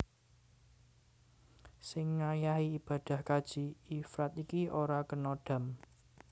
Sing ngayahi ibadah kaji ifrad iki ora kena dham